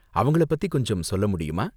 அவங்களை பத்தி கொஞ்சம் சொல்லமுடியுமா?